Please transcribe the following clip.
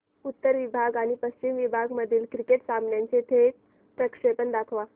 उत्तर विभाग आणि पश्चिम विभाग मधील क्रिकेट सामन्याचे थेट प्रक्षेपण दाखवा